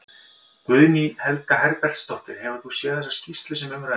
Guðný Helga Herbertsdóttir: Hefur þú séð þessa skýrslu sem um ræðir?